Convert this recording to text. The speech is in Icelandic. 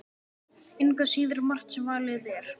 Engu að síður margt sem valið er.